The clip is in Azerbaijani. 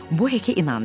Bu Heki inandırdı.